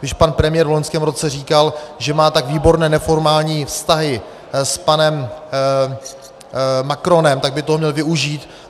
Když pan premiér v loňském roce říkal, že má tak výborné neformální vztahy s panem Macronem, tak by toho měl využít.